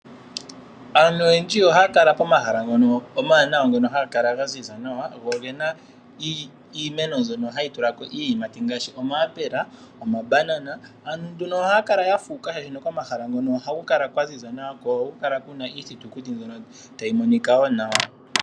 Aantu oyendji ohaya kala pomahala ngono omawanawa hapu kala pwaziza nawa go ogena iimeno ndyono hayi tulako iiyimati ngaashi omayapela, omabanana. Ohaya kala yafuuka oshoka pomahala ngono ohaku kala kwaziza nawa ko ohaku kala kuna iithutukuti ndyono tayi monika woo nawa.